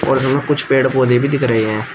और वहां कुछ पेड़ पौधे भी दिख रहे हैं।